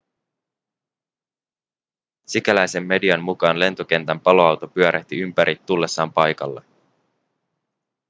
sikäläisen median mukaan lentokentän paloauto pyörähti ympäri tullessaan paikalle